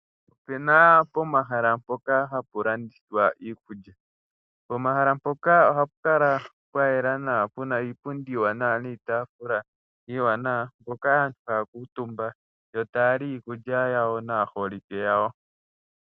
Opuna omahala ngoka hapu landithilwa iikulya, pomahala mpoka ohapu kala pwa yela nawa puna iipundi iiwanawa niitafula iiwanawa mpoka aantu haya kuutumba yo taya li iikulya yawo naaholike yawo.